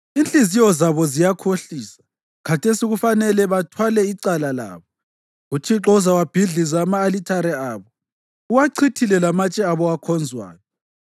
Inhliziyo zabo ziyakhohlisa, khathesi kufanele bathwale icala labo. UThixo uzawabhidliza ama-alithare abo, uwachithile lamatshe abo, akhonzwayo.